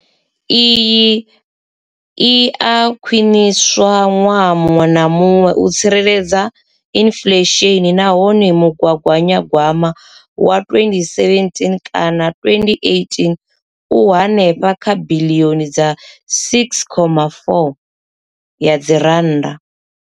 Iyi i a khwiniswa ṅwaha muṅwe na muṅwe u tsireledza inflesheni nahone mugaganyagwama wa 2017 kana 2018 u henefha kha biḽioni dza 6.4 ya dzi rannda.